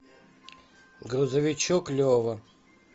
грузовичок лева